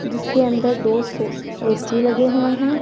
जिसके अंदर दो सो ए_सी लगे हुए हैं।